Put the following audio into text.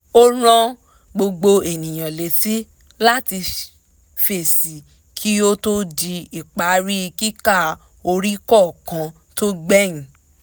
ó rán gbogbo ènìyàn létí láti fèsì kí ó tó di ìparí kíkà orí kọ̀ọ̀kan tó gbẹ̀yìn